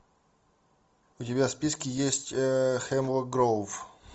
у тебя в списке есть хемлок гроув